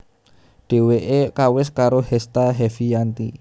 Dheweke kawis karo Hesta Heviyanti